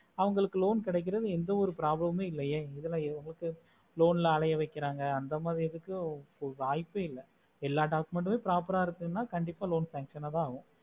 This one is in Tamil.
அவங்களுக்கு loan கடைக்குறது எந்த ஒரு problem இல்ல எதுல எதுக்கு loan ல அலையை வெக்குறாங்க அந்த மாரி எதுக்கு வைபை இல்ல எல்லா document proper ஆஹ் இருக்குன்னு கண்டிப்பா loan function ஆஹ் ஆகும்